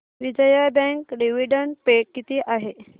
Vijaya bank dividend pay किती आहे